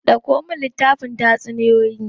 Dauko min littafin tatsuniyoyi.